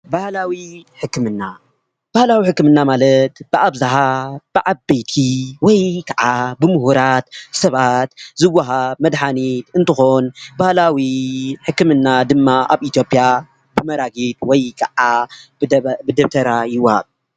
ባህላዊ ሕክምና :- ባህላዊ ሕክምና ማለት በኣብዛሓ በዓበይቲ ወይ ክዓ ብሙህራት ሰባት ዝዋሃብ መድሓኒት እንትኾን ፤ባህላዊ ሕክምና ድማ ኣብ ኢትዮጰያ ተመራቂ ወይ ከዓ ብደብተራ ይወሃብ፡ ፡